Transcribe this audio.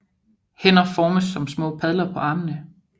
Hænder formes som små padler på armene